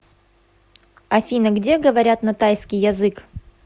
афина где говорят на тайский язык